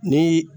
Ni